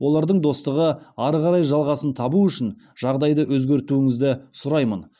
олардың достығы ары қарай жалғасын табуы үшін жағдайды өзгертуіңізді сұраймын